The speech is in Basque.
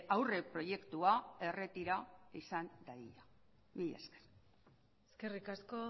aurreproiektua erretira izan dadila mila esker eskerrik asko